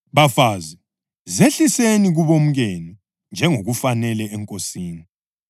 Bafazi, zehliseni kubomkenu njengokufanele eNkosini.